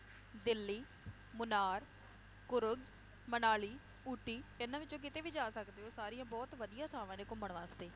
ਦਿੱਲੀ, ਮੁਨਾਰ, ਕੁਰੁਕ, ਮਨਾਲੀ, ਊਟੀ, ਇਹਨਾਂ ਵਿਚੋਂ ਕਿਤੇ ਵੀ ਜਾ ਸਕਦੇ ਹੋ ਸਾਰੀਆਂ ਬਹੁਤ ਵਧੀਆ ਥਾਵਾਂ ਨੇ ਘੁੰਮਣ ਵਾਸਤੇ